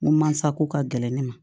N ko mansa ko ka gɛlɛn ne ma